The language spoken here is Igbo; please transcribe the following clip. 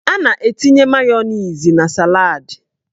A na-etinye mayoniz na saladị